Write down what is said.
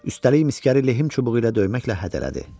Üstəlik miskəri lehim çubuğu ilə döyməklə hədələdi.